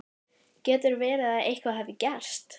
getur verið að eitthvað hafi gerst.